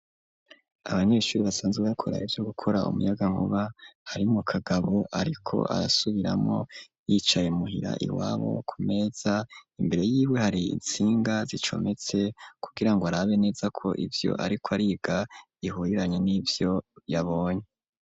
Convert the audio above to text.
Abanyeshuri, basanzwe bakora, ivyo gukora, umuyagankuba, harimwo kagabo, ariko arasubiramwo, yicaye muhira iwabo; ku meza imbere yiwe, hari intsinga zicometse, kugira ngo, arabe neza ko, ivyo ariko ariga, bihuriranye n'ivyo yabonye.